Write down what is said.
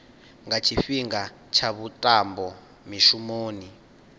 nga tshifhinga tsha vhuṱambo mishumoni